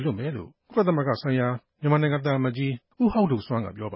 လွှတ်မယ်လို့ ကုလသမဂ္ဂဆိုင်ရာ မြန်မာသံအမတ်ကြီး ဦးဟောက်ဒိုဆွမ်း က ပြောပ